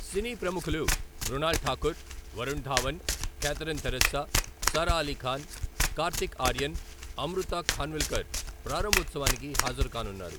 సినీ ప్రముఖులు మృణాల్ ఠాఖుర్, వరుణ్ ధావన్, క్యాథరిన్ థెరిస్సా, సారా అలీ ఖాన్, కార్తీక్ ఆర్యన్, అమృతా ఖాన్విల్కర్ ప్రారంభోత్సవానికి హాజరుకానున్నారు.